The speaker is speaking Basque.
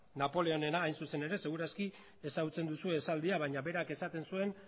napoleónena hain zuzen ere seguru asko ezagutzen duzue esaldia baina berak esaten zuen